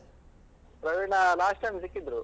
Praveena last time ಸಿಕ್ಕಿದ್ರು.